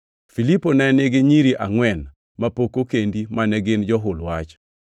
Filipo ne nigi nyiri angʼwen mapok okendi mane gin johul wach.